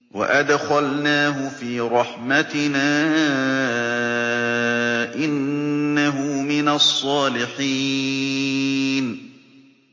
وَأَدْخَلْنَاهُ فِي رَحْمَتِنَا ۖ إِنَّهُ مِنَ الصَّالِحِينَ